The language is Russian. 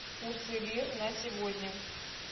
курсы лир на сегодня